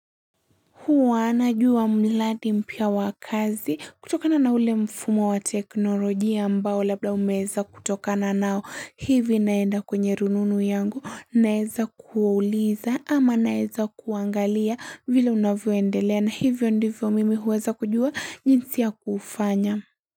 Huwa najua mladi mpia wakazi kutokana na ule mfumo wa teknoloji ya mbao labda umeza kutokana nao hivi naenda kwenye rununu yangu naeza kuwauliza ama naeza kuangalia vile unavyoendelea na hivyo ndivyo mimi huweza kujua jinsi ya kufanya.